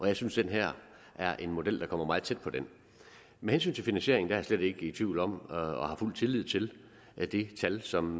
jeg synes at den her er en model der kommer meget tæt på den med hensyn til finansieringen er jeg slet ikke i tvivl om og har fuld tillid til at det tal som